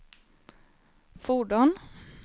fordon